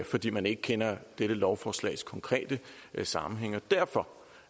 fordi man ikke kender dette lovforslags konkrete sammenhæng og derfor